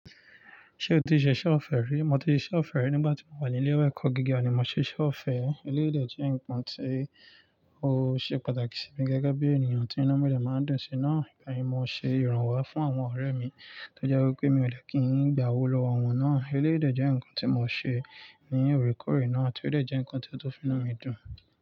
Ṣé o ti ṣe iṣẹ́ ọ̀fẹ́ rí? Mo ti ṣe iṣẹ́ ọ̀fẹ́ rí nígbà tí mo wà ní ilé ìwé ẹ̀kọ́ gíga ni mo ṣe iṣẹ́ ọ̀fẹ́. Eleyi dẹ jẹ́ nǹkan tí ó ṣe pàtàkì sí mi gẹ́gẹ́ bí ènìyàn tí inu mi dẹ máa ń dùn sí i náà. Ìgbà yẹn mo ṣe ìrànwọ́ fún àwọn ọ̀rẹ́ mi tó jẹ́ wípé mi ò dẹ kí ń gba owó lọ́wọ́ wọn náà. Eleyi dẹ jẹ́ ǹkan tí mo ṣe ní orekore naa tí ó dẹ jẹ́ ǹkan tí ó tun fiinu mi dùn.